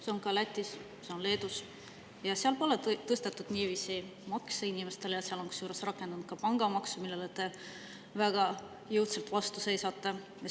See on ka Lätis, see on Leedus ja seal pole niiviisi makse tõstetud inimestel, kusjuures seal on rakendunud ka pangamaks, millele te väga jõudsalt vastu seisate.